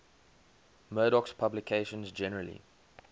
murdoch's publications generally